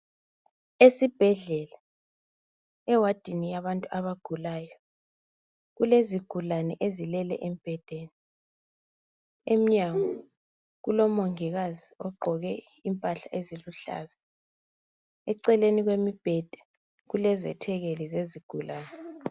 Esibhedlela ewadini yabantu abagulayo kulezigulane ezilele embhedeni emnyango kulomongikazi ogqqoke impahla eziluhlaza eceleni kwemibheda izethekeli zezigulane